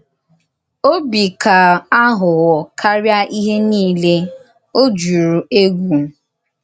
Òbì kà àghụ̀ghọ̀ káríà íhè niile, ọ jùrù ègwù.